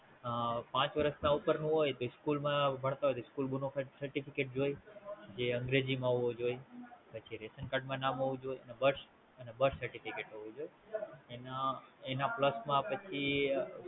અ પાંચ વર્ષ ના હોય તો ઈ સ્કૂલ માં ભણતા હોય તો School bonafide certificate જોઈ, જે અંગ્રેજી માં હોવું જોઈ, પછી રેશન કાર્ડ માં નામ હોવું જોઈ, અને Birth certificate હોવું જોઈ, એના Plus માં પછી